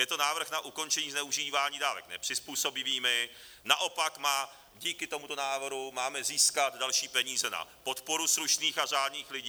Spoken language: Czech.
Je to návrh na ukončení zneužívání dávek nepřizpůsobivými, naopak díky tomuto návrhu máme získat další peníze na podporu slušných a řádných lidí.